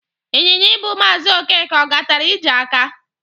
Ịnyịnya ibu Maazị ọkeke, ọ gatere ije aka?